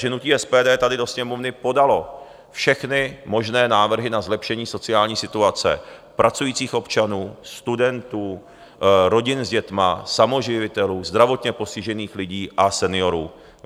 Hnutí SPD tady do Sněmovny podalo všechny možné návrhy na zlepšení sociální situace pracujících občanů, studentů, rodin s dětmi, samoživitelů, zdravotně postižených lidí a seniorů.